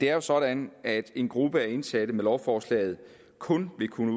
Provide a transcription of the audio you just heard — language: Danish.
er sådan at en gruppe af indsatte med lovforslaget kun vil kunne